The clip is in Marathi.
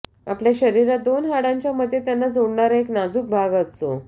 आपल्या शरीरात दोन हाडांच्या मध्ये त्यांना जोडणारा एक नाजूक भाग असतो